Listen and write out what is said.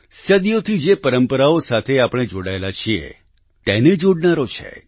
સદીઓથી જે પરંપરાઓ સાથે આપણે જોડાયેલા છીએ તેને જોડનારો છે